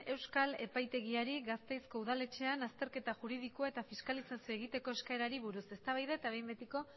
euskal epaitegiari gasteizko udaletxean azterketa juridikoa eta fiskalizazioa egiteko eskaerari buruz eztabaida eta behin betiko